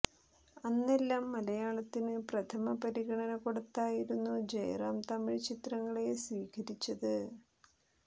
അന്നെല്ലാം മലയാളത്തിന് പ്രഥമ പരിഗണ കൊടുത്തായിരുന്നു ജയറാം തമിഴ് ചിത്രങ്ങളെ സ്വീകരിച്ചത്